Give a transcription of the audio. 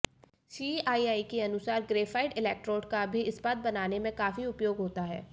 CII के अनुसार graphite electrode का भी इस्पात बनाने में काफी उपयोग होता है